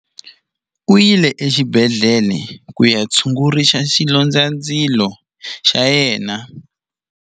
U yile exibedhlele ku ya tshungurisa xilondzandzilo xa yena.